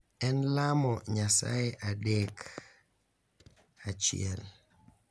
En lamo Nyasaye adek achiel: